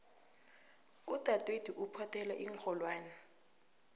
udadwethu uphothela iinrholwani